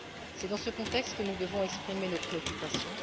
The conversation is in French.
C'est dans ce contexte que nous devons exprimer nos préoccupations.